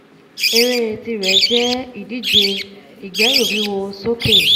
ẹré tirẹ̀ jẹ́ ìdíje ìgbẹ́rùwíwo sókè